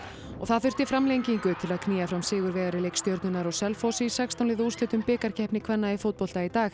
og það þurfti framlengingu til að knýja fram sigurvegara í leik Stjörnunnar og Selfoss í sextán liða úrslitum bikarkeppni kvenna í fótbolta í dag